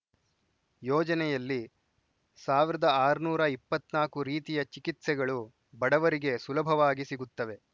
ಯೋಜನೆಯಲ್ಲಿ ಸಾವಿರದ ಆರುನೂರ ಇಪ್ಪತ್ತ್ ನಾಕು ರೀತಿಯ ಚಿಕಿತ್ಸೆಗಳು ಬಡವರಿಗೆ ಸುಲಭವಾಗಿ ಸಿಗುತ್ತವೆ